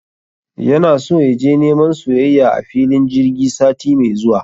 Yana so yaje neman soyayya a filin jirgi sati mai zuwa